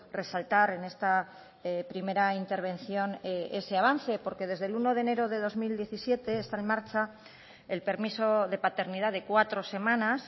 resaltar en esta primera intervención es ese avance porque desde el uno de enero del dos mil diecisiete está en marcha el permiso de paternidad de cuatro semanas